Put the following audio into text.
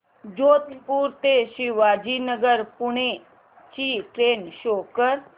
जोधपुर ते शिवाजीनगर पुणे ची train show कर